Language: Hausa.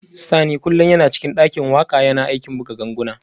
Sani kullum yana cikin dakin waka yana aikin buga ganguna